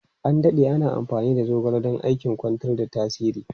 An dade ana amfani da zogale don aikin kwantar da tasiri.